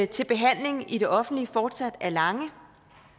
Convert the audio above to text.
til behandling i det offentlige fortsat er lange